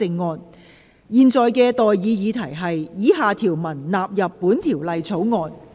我現在向各位提出的待議議題是：以下條文納入本條例草案。